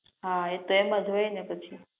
હા એ તો એમજ હોય ને પછી